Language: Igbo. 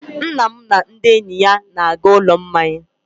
Nna m na ndị enyi ya na-aga ụlọ mmanya.